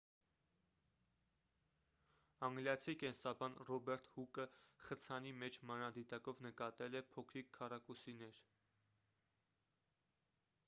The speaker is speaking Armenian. անգլիացի կենսաբան ռոբերտ հուկը խցանի մեջ մանրադիտակով նկատել է փոքրիկ քառակուսիներ